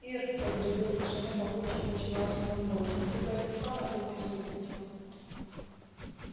ир разрядил тишину папульчик очень ласковым голосом ты бы отнесла на кухню супницу